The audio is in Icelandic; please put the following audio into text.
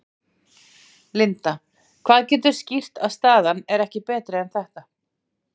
Linda: Hvað getur skýrt að staðan er ekki betri en þetta?